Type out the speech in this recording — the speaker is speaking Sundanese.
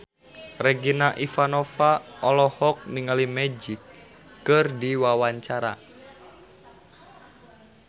Regina Ivanova olohok ningali Magic keur diwawancara